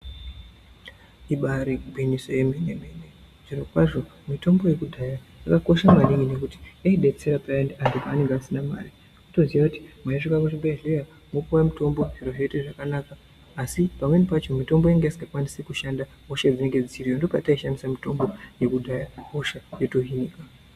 Ibari gwinyiso remene mene zviro kwazvo mitombo yekudhaya yakakosha maningi ngekuti yaidetsera maningi vantu pavange vasina Mari kutoziya kuti meisvika kuchibhedhlera mopuwe mutombo zviro zvoita zvakanaka asi pamweni pacho mitombo yanga isingakwanisi kushanda hosha dzanga dziriyo ndopataishandisa mitombo yekudhaya hosha yotohinika.